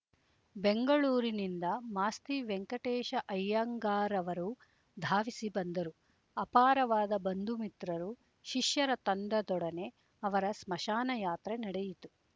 ಬೆಂಗಳೂರಿನಿಂದ ಮಾಸ್ತಿ ವೆಂಕಟೇಶ ಅಯ್ಯಂಗಾರ ಅವರೂ ಧಾವಿಸಿ ಬಂದರು ಅಪಾರವಾದ ಬಂಧುಮಿತ್ರರು ಶಿಷ್ಯರ ತಂಡದೊಡನೆ ಅವರ ಸ್ಮಶಾನಯಾತ್ರೆ ನಡೆಯಿತು